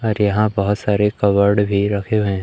और यहां बहोत सारे कवर्ड भी रखे हुए--